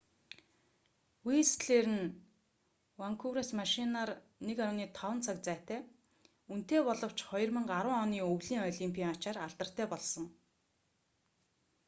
вистлер нь ванкуверээс машинаар 1,5 цаг зайтай үнэтэй боловч 2010 оны өвлийн олимпын ачаар алдартай болсон